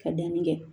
Ka danni kɛ